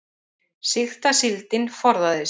Sýkta síldin forðaði sér